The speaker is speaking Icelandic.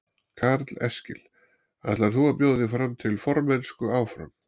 Karl Eskil: Ætlar þú að bjóða þig fram til formennsku áfram?